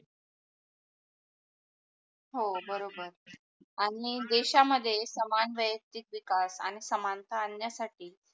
हो बरोबर, आणि देशामध्ये समान वैयक्तिक विकास आणि समानता आण्या साठी